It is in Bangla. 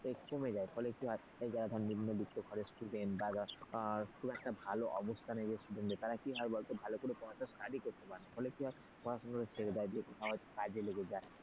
কমে যায় ফলে কি হয় যারা ধর নিম্নবিত্ত ঘরের student বাখুব একটা ভালো অবস্থানে student তারা কি হয় বলত ভালো করে পড়াটা study করতে পারেনা ফলে কি হয় পড়াশোনাটা ছেড়ে যায় কোথায় একটা কাজে লেগে যায়,